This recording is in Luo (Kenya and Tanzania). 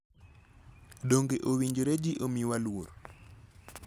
Donge owinjore ji omiwa luor?